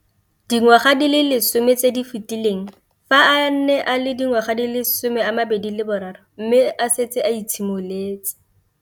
Dingwaga di le 10 tse di fetileng, fa a ne a le dingwaga di le 23 mme a setse a itshimoletse